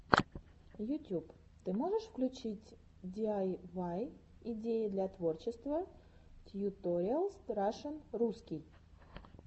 ютюб ты можешь включить диайвай идеи для творчества тьюториалс рашн русский